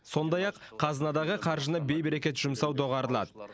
сондай ақ қазынадағы қаржыны бейберекет жұмсау доғарылады